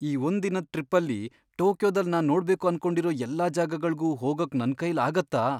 ಈ ಒಂದ್ ದಿನದ್ ಟ್ರಿಪ್ಪಲ್ಲಿ ಟೋಕಿಯೊದಲ್ ನಾನ್ ನೋಡ್ಬೇಕು ಅನ್ಕೊಂಡಿರೋ ಎಲ್ಲಾ ಜಾಗಗಳ್ಗೂ ಹೋಗಕ್ ನನ್ಕೈಲ್ ಆಗತ್ತಾ?